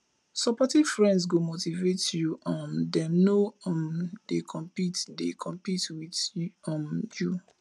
supportive friends go motivate you um dem no um dey compete dey compete with um you